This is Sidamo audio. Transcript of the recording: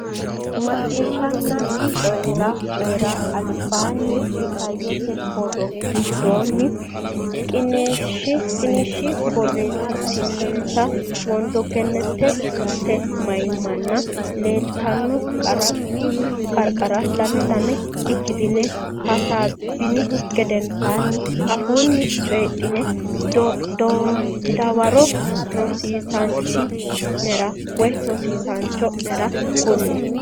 Macciishshanna Coyi ra Coyi ra Albaanni isayyote borro giraafete qiniishshi borreessitinita Wondo Gannatete mayimmanna leeltanno qarqara lame lame ikkitine hasaabbinihu gedensaanni afuunni coydhine dawaro rosiisaanchi nera cho nera kulle.